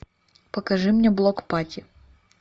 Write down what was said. покажи мне блок пати